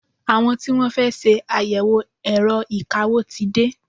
Àwọn tí Wọ́n fẹ́ ṣe àyẹ̀wò ẹ̀rọ ìkawó ti dé.